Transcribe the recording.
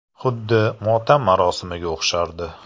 Xuddi motam marosimiga o‘xshardi.